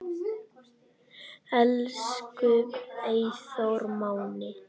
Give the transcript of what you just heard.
Elsku Eyþór Máni.